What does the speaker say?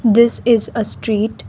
this is a street.